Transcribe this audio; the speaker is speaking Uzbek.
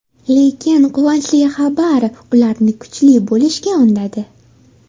Lekin quvonchli xabar ularni kuchli bo‘lishiga undadi.